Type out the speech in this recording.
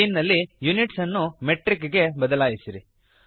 scene ನಲ್ಲಿ units ಅನ್ನು metric ಗೆ ಬದಲಾಯಿಸಿರಿ